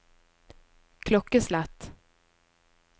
klokkeslett